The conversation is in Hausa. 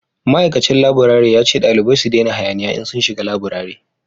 ma'aikacin laburare ya ce dalibai su dena hayaniya in sun shiga laburare